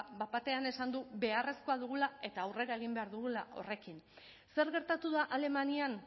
bat batean esan du beharrezkoa dugula eta aurrera egin behar dugula horrekin zer gertatu da alemanian